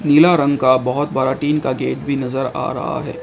पीला रंग का बहुत बड़ा टीन का गेट भी नजर आ रहा है।